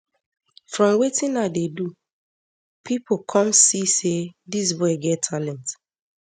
from wetin i dey do pipo come see say dis boy get talent